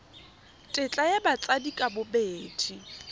tetla ya batsadi ka bobedi